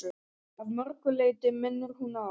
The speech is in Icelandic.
Að mörgu leyti minnir hún á